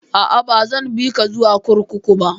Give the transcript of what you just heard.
A'a, ba zan bi ka zuwa kurkuku ba